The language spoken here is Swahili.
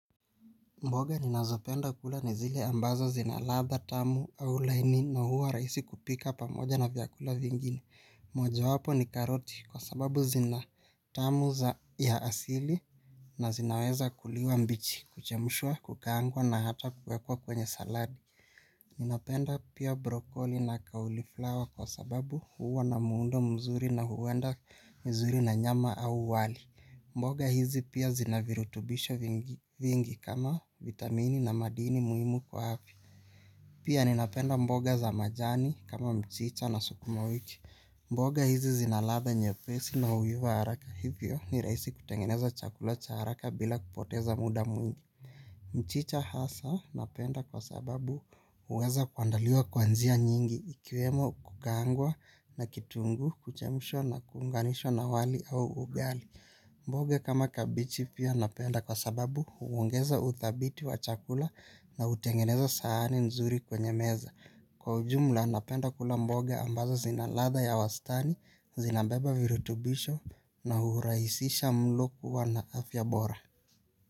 Mboga ninazopenda kula nizile ambazo zinaladha tamu au laini na huwa rahisi kupika pamoja na vyakula vingine. Moja wapo ni karoti kwa sababu zina tamu za ya asili na zinaweza kuliwa mbichi, kuchemshwa, kukaangwa na hata kuwekwa kwenye saladi. Ninapenda pia brokoli na kauli flower kwa sababu huwa na muundo mzuri na huenda vizuri na nyama au wali. Mboga hizi pia zinavirutubisho vingi kama vitamini na madini muhimu kwa afya. Pia ninapenda mboga za majani kama mchicha na sukuma wiki. Mboga hizi zinaladha nye pesi na huiva haraka. Hivyo ni rahisi kutengeneza chakula cha haraka bila kupoteza muda mwingi. Mchicha hasa napenda kwa sababu huweza kuandaliwa kwanjia nyingi ikiwemo kukaangwa na kitunguu kuchemshwa na kuunganishwa na wali au ugali. Mboga kama kabichi pia napenda kwa sababu huongeza udhabiti wa chakula na hutengeneza sahani nzuri kwenye meza. Kwa ujumla napenda kula mboga ambazo zinaladha ya wastani, zinabeba virutubisho na hurahisisha mloku wa na afyabora.